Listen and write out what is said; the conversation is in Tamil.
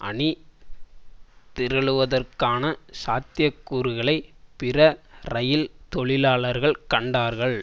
அணி திரளுவதற்கான சாத்திய கூறுகளை பிற இரயில் தொழிலாளர்கள் கண்டார்கள்